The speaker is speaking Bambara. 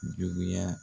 Juguya